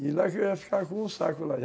E lá que eu ia ficar com um saco lá.